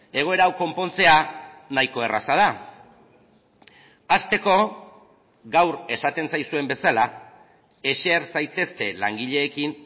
egoera hau konpontzea nahiko erraza da hasteko gaur esaten zaizuen bezala eser zaitezte langileekin